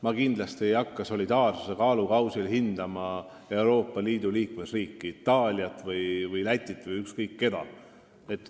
Ma kindlasti ei hakka solidaarsuse kaalukausil hindama Euroopa Liidu liikmesriike – Itaaliat või Lätit või ükskõik keda.